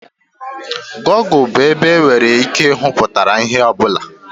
Gọgụ bụ ebe e nwere ike ịhụ mpụtara ihe ọ bụla.